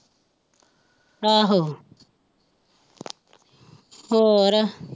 ਆਹੋ ਹੋਰ।